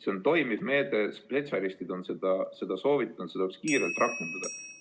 See on toimiv meede, spetsialistid on seda soovitanud, seda tuleks kiirelt rakendada.